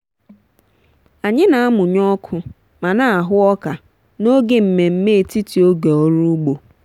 anyị na-amụnye ọkụ ma na-ahụ ọka n'oge mmemme etiti oge ọrụ ugbo.